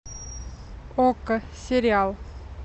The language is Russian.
окко сериал